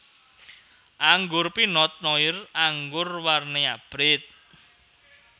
Anggur Pinot Noir anggur warni abrit